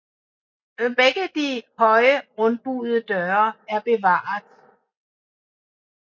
Begge de høje rundbuede døre er bevaret